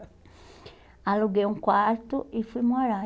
Aluguei um quarto e fui morar.